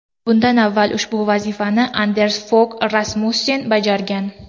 Bundan avval ushbu vazifani Anders Fog Rasmussen bajargan.